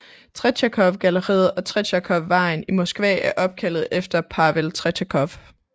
Tretjakovgalleriet og Tretjakovvejen i Moskva er opkaldt efter Pavel Tretjakov